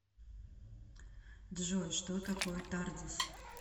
джой что такое тардис